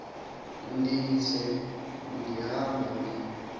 ndise ndihamba ndi